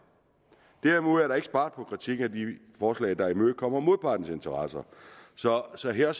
derimod er der ikke sparet på kritikken af de forslag der imødekommer modpartens interesser så også her